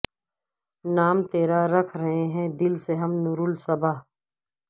نام تیرا رکھ رہے ہیں دل سے ہم نور الصباح